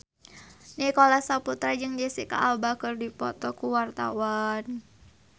Nicholas Saputra jeung Jesicca Alba keur dipoto ku wartawan